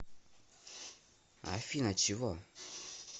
афина чего